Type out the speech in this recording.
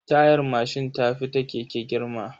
Tayar mashin ta fi ta keke girma.